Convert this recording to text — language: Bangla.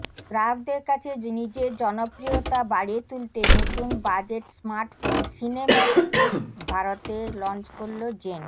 গ্রাহকদের কাছে নিজের জনপ্রিয়তা বাড়িয়ে তুলতে নতুন বাজেট স্মার্টফোন সিনেম্যাক্স ক্লিক ভারতে লঞ্চ করল জেন